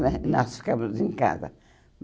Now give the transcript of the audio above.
Nós nós ficávamos em casa.